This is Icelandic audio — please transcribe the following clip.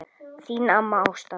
Þín amma Ásta.